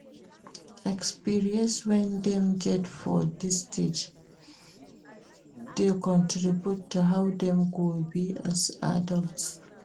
Experience wey dem get for dis stage de contribute to how dem go be as adults